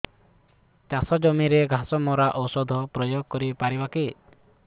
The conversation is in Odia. ଚାଷ ଜମିରେ ଘାସ ମରା ଔଷଧ ପ୍ରୟୋଗ କରି ପାରିବା କି